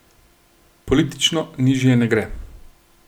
Politično nižje ne gre.